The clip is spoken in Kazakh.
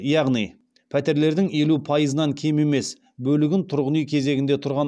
яғни пәтерлердің елу пайызынан кем емес бөлігі тұрғын үй кезегінде тұрған